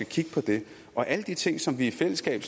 kigge på det og alle de ting som vi i fællesskab